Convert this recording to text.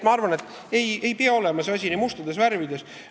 Ma arvan, et see asi ei pea olema nii mustades värvides.